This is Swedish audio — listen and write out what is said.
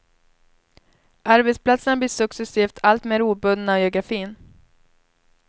Arbetsplatserna blir successivt alltmer obundna av geografin.